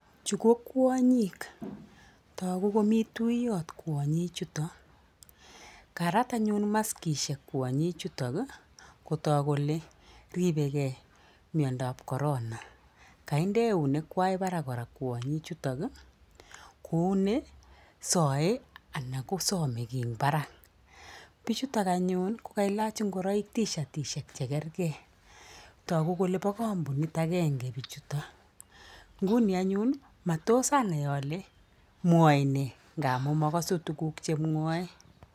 Chu kokwonyik togu komii tuyot kwanyichuton. Karat anyun maskishek kwonyichuton kotook kole ripegei miondoab corona kaindi eunek kwai barak kwanyichuto kouni saaee ana kosamei kii eng barak. Bichuto anyun kokailach ingoroik tishatishek chekergei taguu kole bo kampunit agenge. Bichuto nguni anyun matosanai alee mwaemee amuu makasu tukuk chemwoe.